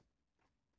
TV 2